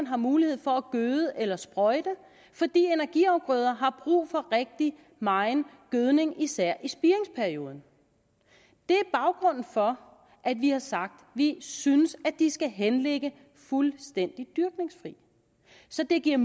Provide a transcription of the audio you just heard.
har mulighed for at gøde eller sprøjte fordi energiafgrøder har brug for rigtig megen gødning i især spiringsperioden det er baggrunden for at vi har sagt at vi synes de skal henligge fuldstændig dyrkningsfri så det giver